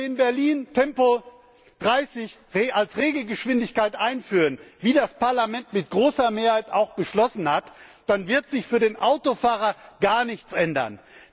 Wenn wir in Berlin Tempo30 als Regelgeschwindigkeit einführen, wie das Parlament mit großer Mehrheit auch beschlossen hat, dann wird sich für den Autofahrer gar nichts ändern.